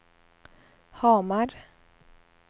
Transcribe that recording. Hamar